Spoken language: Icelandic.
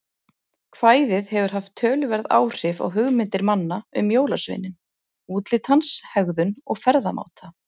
Kvæðið hefur haft töluverð áhrif á hugmyndir manna um jólasveininn, útlit hans, hegðun og ferðamáta.